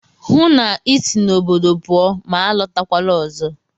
Hụụ na Ị si n'obodo pụọ ma alọtakwala ọzọ!